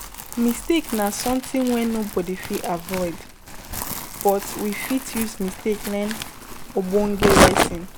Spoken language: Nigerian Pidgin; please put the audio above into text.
Mistakes na something wey nobody fit avoid but we fit use mistake learn ogbonge lesson